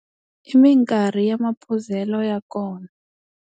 I minkarhi ya maphuzelo ya kona.